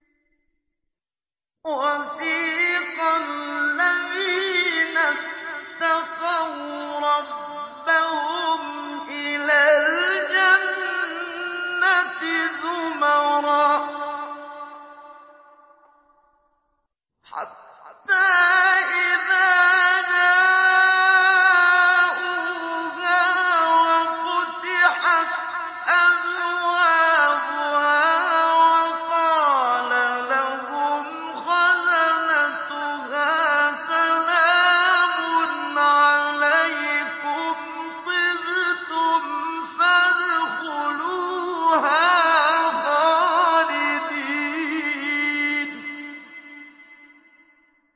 وَسِيقَ الَّذِينَ اتَّقَوْا رَبَّهُمْ إِلَى الْجَنَّةِ زُمَرًا ۖ حَتَّىٰ إِذَا جَاءُوهَا وَفُتِحَتْ أَبْوَابُهَا وَقَالَ لَهُمْ خَزَنَتُهَا سَلَامٌ عَلَيْكُمْ طِبْتُمْ فَادْخُلُوهَا خَالِدِينَ